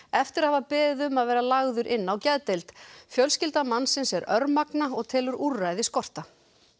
eftir að hafa beðið um að vera lagður inn á geðdeild fjölskylda mannsins er örmagna og telur úrræði skorta